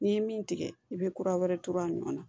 N'i ye min tigɛ i bɛ kura wɛrɛ to a nɔ na